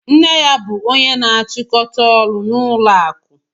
Nne ya bụ ónyé na-achikọta ọrụ n'ụlọ akụ.